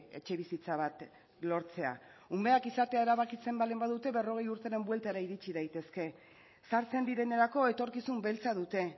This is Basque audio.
etxebizitza bat lortzea umeak izatea erabakitzen baldin badute berrogei urteren buelta ere iritsi daitezke sartzen direnerako etorkizun beltza dute